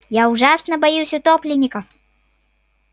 я ужасно боюсь утопленников